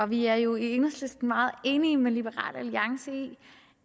vi er jo i enhedslisten meget enige med liberal alliance i